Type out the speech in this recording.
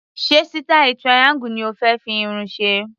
Ṣé sítáì triangle ni o fé fi irun ṣe?